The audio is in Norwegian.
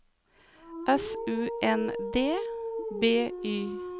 S U N D B Y